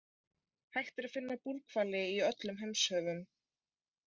Hægt er að finna búrhvali í öllum heimshöfum.